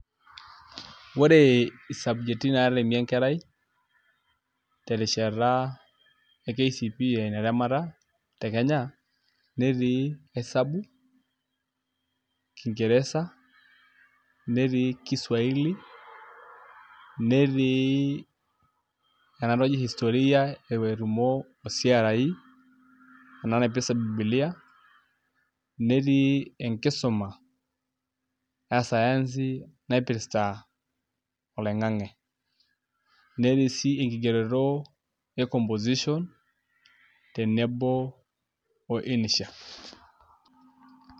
ore i subject naatemi enkerai terishata e kcpe aa entemata te kenya, netiii esabu, kingeresa, netii kiswaili, netii ena naji historia etumo o CRE ena naipirta bibilia, netii enkisuma e sayansi naipirta, oloing'ang'e, netii sii enkigeroto e composition tenebo o insha